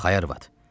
Bax, ay arvad.